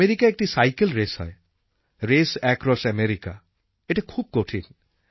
আমেরিকায় একটি cycle race হয় রেস অ্যাক্রস আমেরিকা যা খুব কঠিন